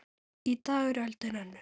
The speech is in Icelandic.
Í dag er öldin önnur.